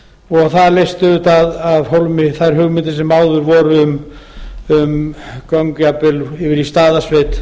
og það leysti auðvitað af hólmi þær hugmyndir sem áður voru um göng jafnvel yfir í staðarsveit